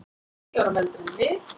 Tíu árum eldri en við.